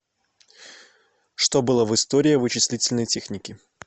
что было в история вычислительной техники